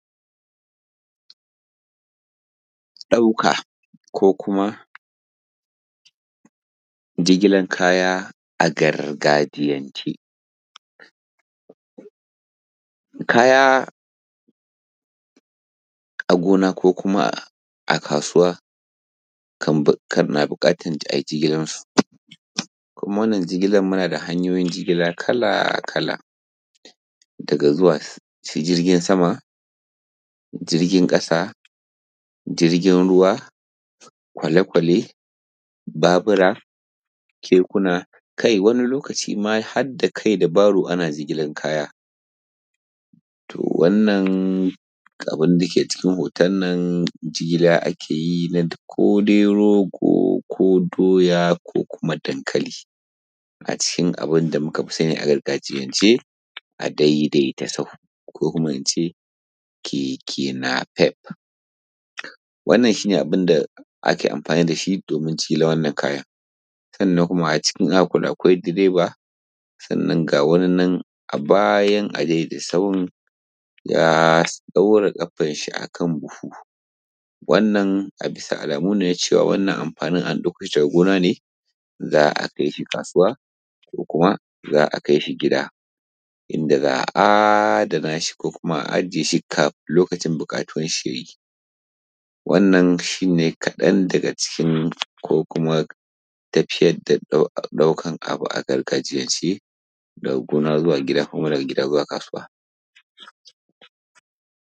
ɗauka ko kuma jigilan kaya a gargajiyance kaya a gona ko kuma a kasuwa kar na buƙatar kan ai jigilansu kuma wannan jigilan muna da hanyoyin jigilan kala kala daga zuwa jirgin sama jirgin ƙasa jirgin ruwa kwale kwale babura kekuna kai wan lokaci kuma har da kai da baro ana jigilan kaya to wannan abun da ke cikin hoton nan jigilan ake yi kodai rogo: ko doya ko kuma dankali a cikin abin da muka fi sani a gargajiyance a daidaita sahu ko kuma ince keke “napep” wannan shi ne abin da ake amfani da shi domin jigilan wannan kayan sannan kuma cikin wannan in za`a kula akwai direba sannan kuma ga wani nan a bayan adaidaita sahu ya ɗaura ƙafan shi a kan buhu wannan a bisa alamu ne na cewa a ɗauko shi daga gona ne za`a kai shi kasuwa ko kuma za`a kai shi gida inda za`a adana shi ko kuma za`a ajije shi kafin lokacin buƙatuwan shi yayi wannan shi ne kaɗan daga cikin ko kuma tafiyar da ɗaukar abu a gargajiyance daga gona zuwa gIda ko kuma daga gida zuwa kasuwa